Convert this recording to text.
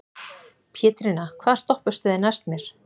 Pétrína, hvaða stoppistöð er næst mér?